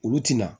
Olu tɛna